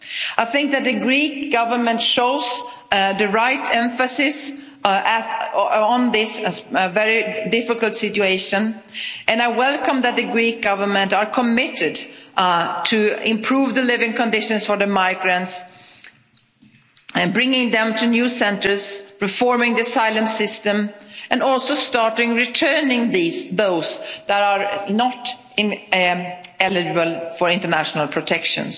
I think that the Greek Government shows the right emphasis on this very difficult situation, and I welcome that the Greek Government are committed to improve the living conditions for migrants, bringing them to new centres, reforming the asylum system and also starting returning those that are not eligible for international protection.